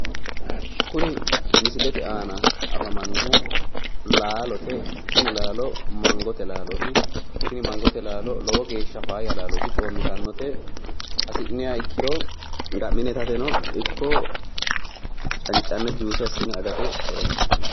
kuni misilete aana afamannohu laalote tini laalo mangote laalooti tini mangote laalo geeshsha faayya laalooti hasi'nniha ikkiro ga'mmine itataeno ikko cancanne juuse assine angani.